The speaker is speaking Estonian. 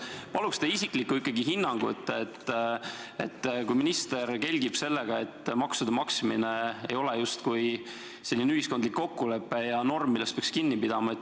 Palun ikkagi teie isiklikku hinnangut, et kui minister kelgib sellega, et maksude maksmine ei ole justkui ühiskondlik kokkulepe ja norm, millest peaks kinni pidama.